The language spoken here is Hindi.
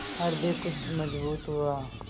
हृदय कुछ मजबूत हुआ